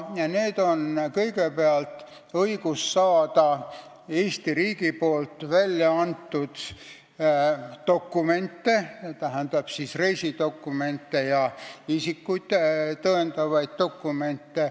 Kõigepealt, õigus saada Eesti riigi väljaantud dokumente, tähendab, reisidokumente ja isikut tõendavaid dokumente.